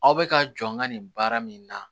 Aw bɛ ka jɔ n ka nin baara min na